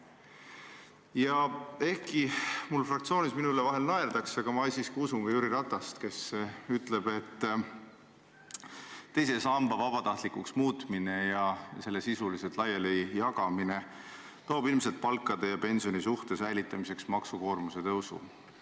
Ja ehkki mu fraktsioonis minu üle vahel naerdakse, ma siiski usun ka Jüri Ratast, kes ütleb, et teise samba vabatahtlikuks muutmine ja selle raha sisuliselt laialijagamine toob palkade ja pensioni suhte säilitamiseks ilmselt kaasa maksukoormuse tõusu.